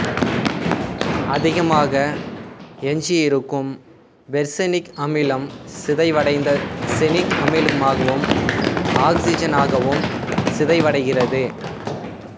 அதிகமாக எஞ்சியிருக்கும் பெர்செனிக் அமிலம் சிதைவடைந்து செனிக் அமிலமாக்வும் ஆக்சிசனாகவும் சிதைவடைகிறது